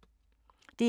DR1